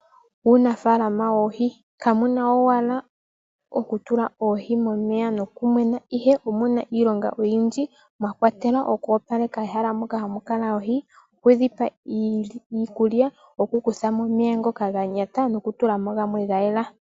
Muunafalama woohi kamuna owala okutula oohi momeya nokumwena ihe omuna iilonga oyindji mwa kwatelwa ehalamoka hamu kala oohi okudhipa iikulya nokukuthamo omeya ngoka ga kaka noku tula mo gamwe ga yela.